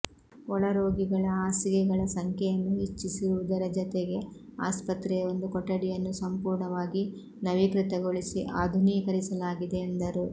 ಒಳರೋಗಿಗಳ ಹಾಸಿಗೆಗಳ ಸಂಖ್ಯೆಯನ್ನು ಹೆಚ್ಚಿಸಿರು ವುದರ ಜತೆಗೆ ಆಸ್ಪತ್ರೆಯ ಒಂದು ಕೊಠಡಿಯನ್ನು ಸಂಪೂರ್ಣವಾಗಿ ನವೀಕೃತಗೊಳಿಸಿ ಆಧುನೀಕರಿಸಲಾಗಿದೆ ಎಂದರು